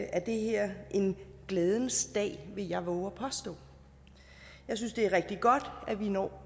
er det her en glædens dag vil jeg vove at påstå jeg synes det er rigtig godt at vi når